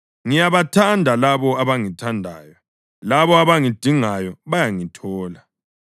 Ngiyabathanda labo abangithandayo, labo abangidingayo bayangithola.